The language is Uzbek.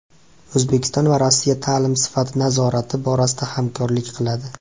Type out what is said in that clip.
O‘zbekiston va Rossiya ta’lim sifati nazorati borasida hamkorlik qiladi.